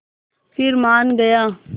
फिर मान गया